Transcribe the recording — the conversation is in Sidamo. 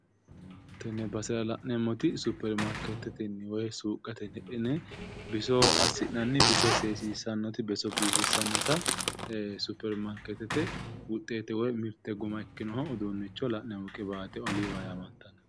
Tenne basera la'neemmooti suppermaarkeetete woy suuqqatenni biso assinnanni biifisinnanni biso seessissanota biso biifissannota suppermaarkeetete wuxeete woy mirte guma ikkinoha la'neemmo qiwaate oliiva yaamantannota